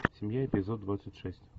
семья эпизод двадцать шесть